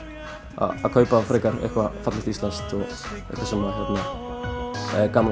að kaupa þá frekar eitthvað fallegt íslenskt sem er gaman